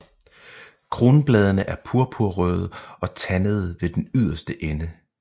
Kronbladene er purpurrøde og tandede ved den yderste ende